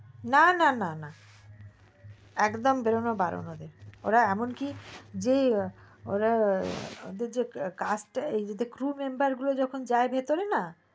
না না একদম বেরোনো বারণ ওদের ওরা এমন কি যে ওরা ওদের যে cast group member গুলো যাই ভিতরে না